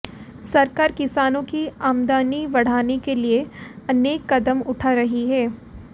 सरकार किसानों की आमदनी बढ़ाने के लिए अऩेक कदम उठा रही है